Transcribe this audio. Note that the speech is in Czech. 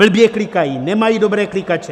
Blbě klikají, nemají dobré klikače.